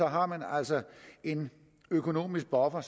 har man altså en økonomisk buffer